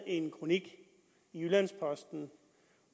en kronik i jyllands posten